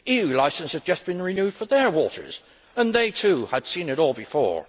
EU licences had just been renewed for their waters and they too had seen it all before.